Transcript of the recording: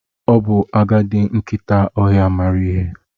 Ọ bụ agadi nkịta ọhịa maara ihe.